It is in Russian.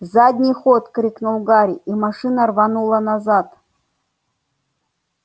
задний ход крикнул гарри и машина рванула назад